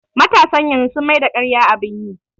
Matasan yanzu sun maida ƙarya abun yi